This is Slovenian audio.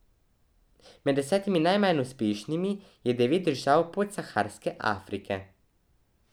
Med desetimi najmanj uspešnimi je devet držav Podsaharske Afrike.